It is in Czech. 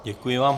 Děkuji vám.